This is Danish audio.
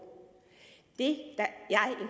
det